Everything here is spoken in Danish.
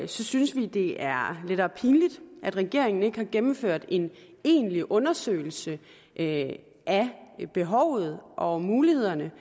synes vi det er lettere pinligt at regeringen ikke har gennemført en egentlig undersøgelse af behovet og mulighederne